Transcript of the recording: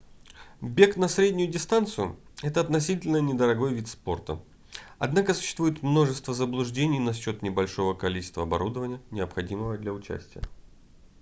бег на среднюю дистанцию это относительно недорогой вид спорта однако существует множество заблуждений насчёт небольшого количества оборудования необходимого для участия